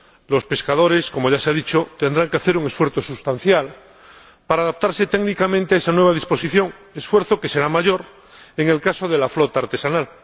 Los pescadores, como ya se ha dicho, tendrán que hacer un esfuerzo sustancial para adaptarse técnicamente a esa nueva disposición, esfuerzo que será mayor en el caso de la flota artesanal.